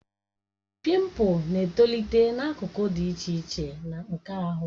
Pimpu na-etolite n'akụkụ dị iche iche nke ahụ